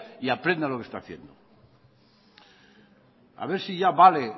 y aprenda lo que está haciendo a ver si ya vale